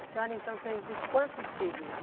A senhora então teve quantos filhos?